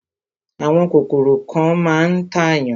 Àwọn kòkòrò kan máa ń tàyàn.